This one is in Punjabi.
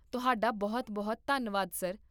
ਤੁਹਾਡਾ ਬਹੁਤ ਬਹੁਤ ਧੰਨਵਾਦ, ਸਰ